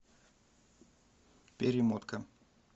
перемотка